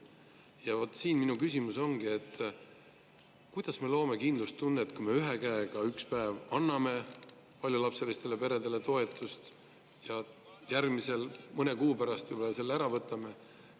Ja vot see minu küsimus ongi: kuidas me loome kindlustunnet, kui me ühe käega üks päev anname paljulapselistele peredele toetust, aga mõne kuu pärast võtame selle jälle ära?